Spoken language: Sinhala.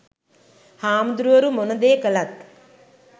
හාමුදුරුවරු මොන දේ කළත්